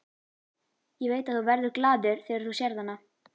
Ég veit að þú verður glaður þegar þú sérð hana.